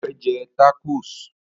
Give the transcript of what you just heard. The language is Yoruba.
O fẹ́ jẹ rákò